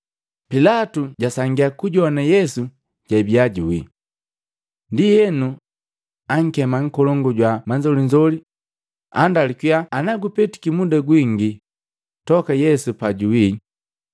Pilatu jasangia kujoana Yesu jabia juwii. Ndienu, ankema nkolongu jwa manzolinzoli, andalukiya ana gupetiki muda gwingi toka Yesu pajuwii.